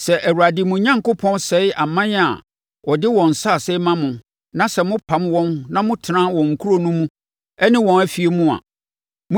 Sɛ Awurade mo Onyankopɔn sɛe aman a ɔde wɔn nsase rema mo na sɛ mopam wɔn na motena wɔn nkuro no mu ne wɔn afie mu a,